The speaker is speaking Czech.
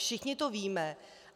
Všichni to víme.